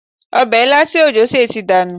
Ọbẹ̀ ilá tí òjó sè ti dànù